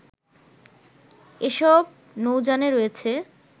এসব নৌযানে রয়েছে